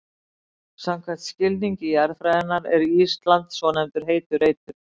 Samkvæmt skilningi jarðfræðinnar er Ísland svonefndur heitur reitur.